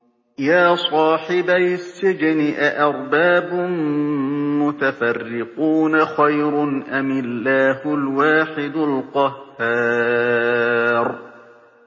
يَا صَاحِبَيِ السِّجْنِ أَأَرْبَابٌ مُّتَفَرِّقُونَ خَيْرٌ أَمِ اللَّهُ الْوَاحِدُ الْقَهَّارُ